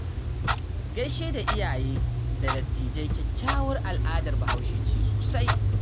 Gaishe da iyaye da dattijai kyakkyawar al'adar bahaushe ce sosai